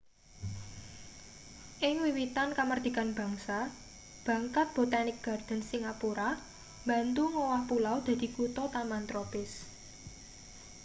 ing wiwitan kamardikan bangsa bangkat botanic gardens singapura mbantu ngowah pulau dadi kuthataman tropis